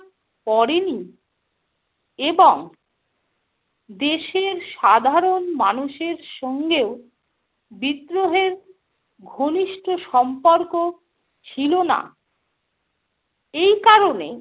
পড়েনি এবং দেশের সাধারণ মানুষের সঙ্গেও বিদ্রোহের ঘনিষ্ঠ সম্পর্ক ছিল না। এই কারণে